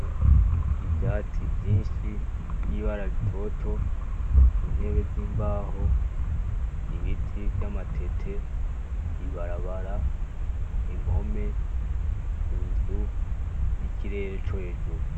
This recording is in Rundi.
Ivyatsi vyinshi vy'ibara ritoto , intebe z'imbaho , ibiti vy'amatete , ibarabara, impome, inzu n'ikirere co hejuru.